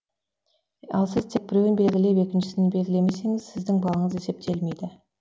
ал сіз тек біреуін белгілеп екіншісін белгілемесеңіз сіздің балыңыз есептелмейді